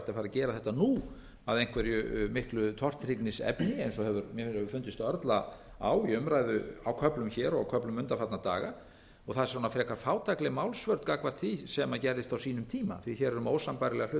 gera þetta nú að einhverju miklu tortryggnisefni eins og mér hefur fundist örla á í umræðu á köflum hér og köflum undanfarna daga það er svona frekar fátækleg málsvörn gagnvart því sem gerðist á sínum tíma því hér er um ósambærilega hluti að